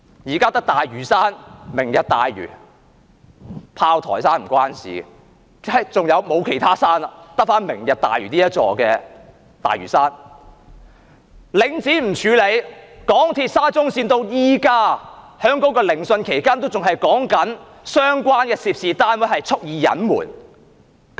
現在只有大嶼山，"明日大嶼"——炮台山與此無關——沒有其他山了，只有"明日大嶼"這座大嶼山；領展不處理；港鐵沙中綫，即使在現時聆訊期間，也仍在討論相關的涉事單位蓄意隱瞞。